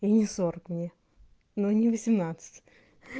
и не сорок мне ну и не восемнадцать